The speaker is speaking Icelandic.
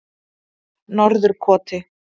Norðurkoti